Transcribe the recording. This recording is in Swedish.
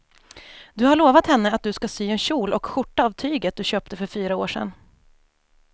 Du har lovat henne att du ska sy en kjol och skjorta av tyget du köpte för fyra år sedan.